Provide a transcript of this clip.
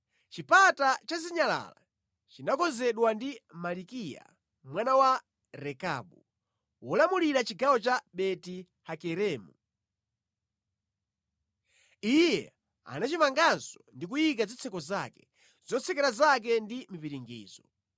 Chipata cha Zinyalala chinakonzedwa ndi Malikiya mwana wa Rekabu, wolamulira chigawo cha Beti-Hakeremu. Iye anachimanganso ndi kuyika zitseko zake, zotsekera zake ndi mipiringidzo.